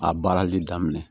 A baarali daminɛ